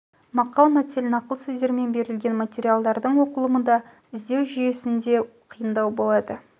мақал-мәтел нақыл сөздермен берілген материалдардың оқылымы да іздеу жүйесінде луы да қиындау болады